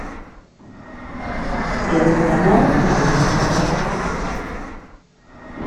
первый канал новости